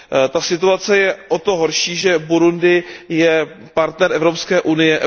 Ta situace je o to horší, že Burundi je partnerem Evropské unie.